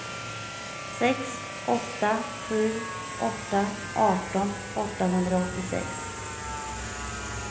sex åtta sju åtta arton åttahundraåttiosex